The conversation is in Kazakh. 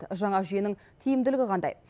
жаңа жүйенің тиімділігі қандай